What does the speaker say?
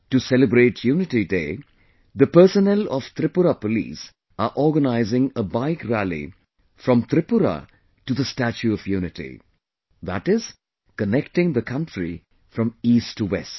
To celebrate Unity Day the personnel of Tripura Police are organising a Bike Rally from Tripura to the Statue of Unity... That is connecting the country from East to West